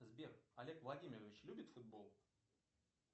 сбер олег владимирович любит футбол